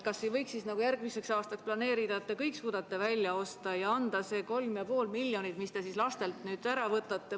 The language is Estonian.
Kas ei võiks siis planeerida nii, et te järgmisel aastal suudate kõik välja osta, ja anda see 3,5 miljonit eurot, mis te lastelt ära võtate ...